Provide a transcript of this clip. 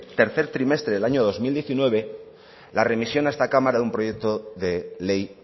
tercer trimestre del año dos mil diecinueve la remisión a esta cámara de un proyecto de ley